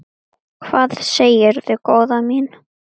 Hvað segirðu góða mín?